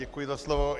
Děkuji za slovo.